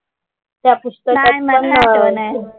त्या पुस्तकात पण नाही वाटत.